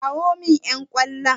Kirawo min ƴan ƙwallon!